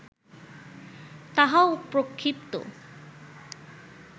তাহাও প্রক্ষিপ্ত